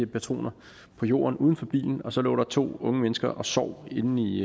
patroner på jorden uden for bilen og så lå der to unge mennesker og sov inde i